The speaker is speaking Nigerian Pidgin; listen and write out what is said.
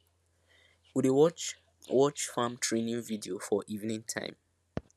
we dey watch watch farm training video for evening time